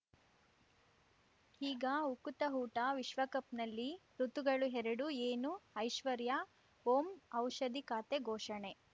ಈಗ ಉಕುತ ಊಟ ವಿಶ್ವಕಪ್‌ನಲ್ಲಿ ಋತುಗಳು ಎರಡು ಏನು ಐಶ್ವರ್ಯಾ ಓಂ ಔಷಧಿ ಖಾತೆ ಘೋಷಣೆ